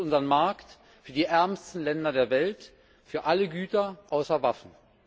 Es öffnet unseren Markt für die ärmsten Länder der Welt für alle Güter außer Waffen.